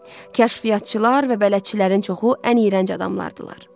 Kəşfiyyatçılar və bələdçilərin çoxu ən iyrənc adamlardılar.